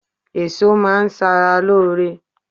Èso má a n sara lóore